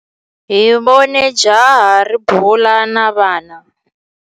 Hi vone jaha ri bula na vana.